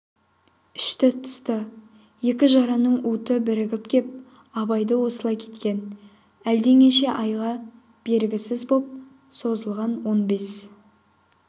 ішті-тысты екі жараның уыты бірігіп кеп абайды осылай еткен әлденеше айға бергісіз боп созылған он бес